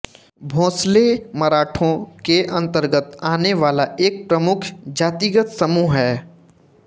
भोंसले मराठों के अन्तर्गत आने वाला एक प्रमुख जातिगत समूह है